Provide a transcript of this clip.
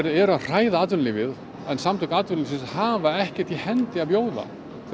eru að hræða atvinnulífið samtök atvinnulífsins hafa ekkert í hendi að bjóða